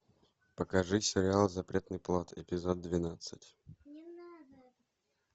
покажи сериал запретный плод эпизод двенадцать